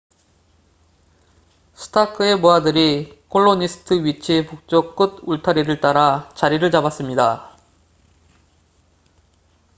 스타크의 부하들이 콜로니스트 위치의 북쪽 끝 울타리를 따라 자리를 잡았습니다